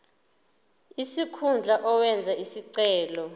sikhundla owenze isicelo